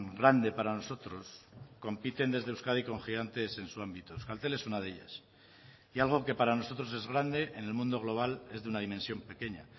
grande para nosotros compiten desde euskadi con gigantes en su ámbito euskaltel es una de ellas y algo que para nosotros es grande en el mundo global es de una dimensión pequeña